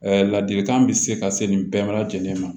ladilikan bɛ se ka se nin bɛɛ lajɛlen ma